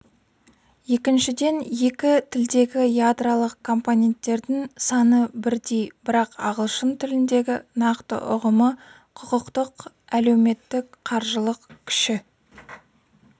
екіншіден екі тілдегі ядролық компоненттердің саны бірдей бірақ ағылшын тіліндегі нақты ұғымы құқықтық әлеуметтік қаржылық кіші